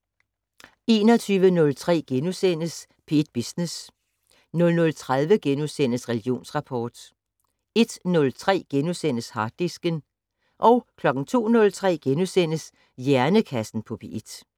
21:03: P1 Business * 00:30: Religionsrapport * 01:03: Harddisken * 02:03: Hjernekassen på P1 *